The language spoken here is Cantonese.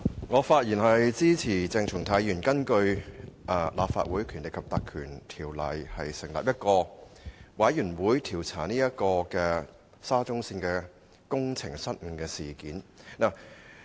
我發言支持鄭松泰議員根據《立法會條例》成立專責委員會的議案，以調查沙中線的工程失誤事件。